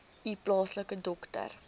u plaaslike dokter